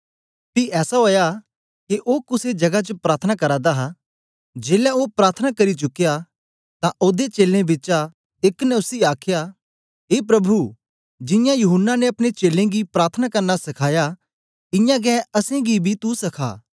पी ऐसा ओया के ओ कुसे जगा च प्रार्थना करा दा हा जेलै ओ प्रार्थना करी चुकया तां ओदे चेलें बिचा एक ने उसी आखया ए प्रभु जियां यूहन्ना ने अपने चेलें गी प्रार्थना करना सखाया इयां गै असेंगी बी तू सखा